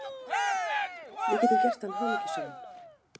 Við getum gert hann hamingjusaman.